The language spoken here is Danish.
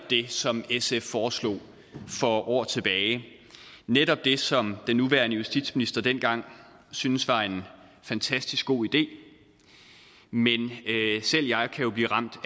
det som sf foreslog for år tilbage netop det som den nuværende justitsminister dengang syntes var en fantastisk god idé men selv jeg kan jo blive ramt